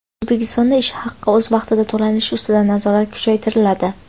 O‘zbekistonda ish haqi o‘z vaqtida to‘lanishi ustidan nazorat kuchaytiriladi.